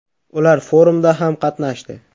Ular forumda ham qatnashdi.